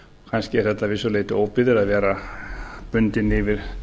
kannski er þetta að vissu leyti óbyggðir að vera bundinn yfir